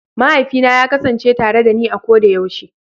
Mahaifina ya kasance tare dani a koda yaushe.